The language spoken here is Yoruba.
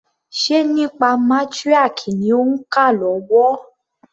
Ṣe nípa matriarch ni òń kà lọ́wọ́?